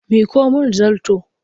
Miƙo mIn zarto!